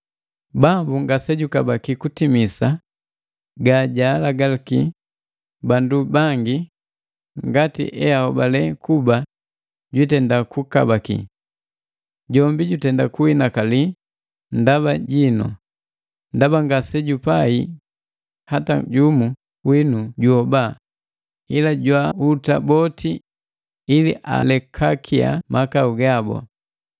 Bambu ngasejukabaki kutimisa ga jaalagi bandu bangi ngati eholale kuba jwiitenda kukabaki. Jombi jutenda kuhinakali ndaba jinu, ndaba ngasejupai hata jumu winu juhoba, ila jwaahuta boti ili alekakiya mahaku gabu.